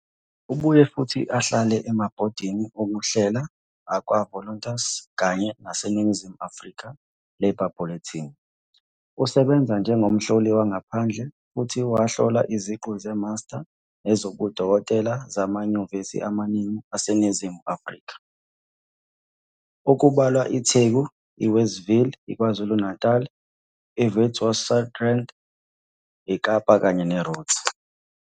Ubuye futhi ahlale emabhodini okuhlela akwaVoluntas kanye naseNingizimu Afrika Labour Bulletin. Usebenze njengomhloli wangaphandle futhi wahlola iziqu zeMaster nezobudokotela zamanyuvesi amaningi aseNingizimu Afrika okubalwa iTheku-Westville, iKwaZulu-Natali, iWitwatersrand, iKapa kanye neRhodes.